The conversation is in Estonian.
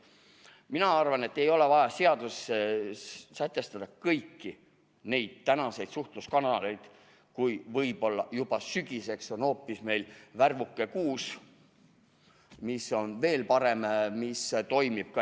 Mina arvan, et ei ole vaja seaduses sätestada kõiki neid tänaseid suhtluskanaleid, kui võib-olla juba sügiseks on hoopis meil Värvuke 6, mis on veel parem, mis toimib ka.